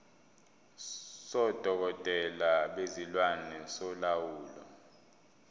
sodokotela bezilwane solawulo